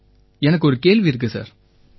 sir எனக்கு ஒரு கேள்வி இருக்கு சார்